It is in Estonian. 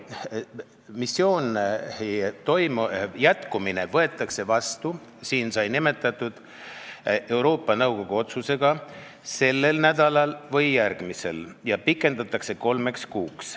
Missiooni jätkamise otsus võetakse vastu, siin sai seda nimetatud, Euroopa Liidu Nõukogu otsusega sellel või järgmisel nädalal ja seda missiooni pikendatakse kolmeks kuuks.